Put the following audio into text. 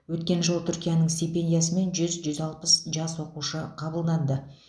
өткен жылы түркияның стипендиясымен жүз жүз алпыс жас оқуға қабылданды